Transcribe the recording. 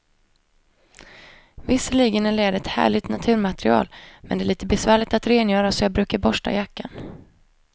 Visserligen är läder ett härligt naturmaterial, men det är lite besvärligt att rengöra, så jag brukar borsta jackan.